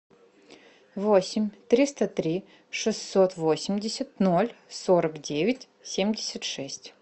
восемь триста три шестьсот восемьдесят ноль сорок девять семьдесят шесть